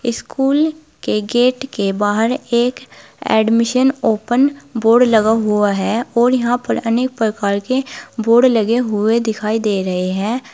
School के gate के बाहर एक एडमिशन ओपन बोर्ड लगा हुआ है और यहां पर अनेक प्रकार के बोर्ड लगे हुए दिखाई दे रहे हैं।